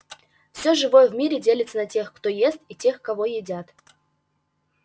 все живое в мире делится на тех кто ест и тех кого едят